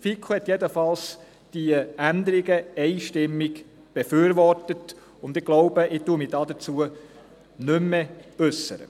Die FiKo hat diese Änderungen jedenfalls einstimmig befürwortet, und ich äussere mich nicht mehr dazu.